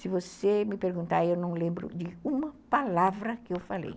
Se você me perguntar, eu não lembro de uma palavra que eu falei.